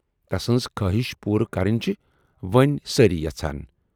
تسٕنز خٲہِش پوٗرٕ کرٕنۍ چِھ وۅنۍ سٲری یژھان۔